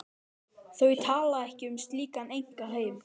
Þau tala ekki um slíkan einkaheim.